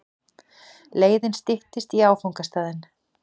Leiðin styttist í áfangastaðinn.